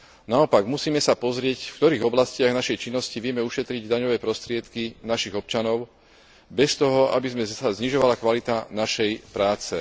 Naopak, musíme sa pozrieť, v ktorých oblastiach našej činnosti vieme ušetriť daňové prostriedky našich občanov bez toho, aby sa znižovala kvalita našej práce.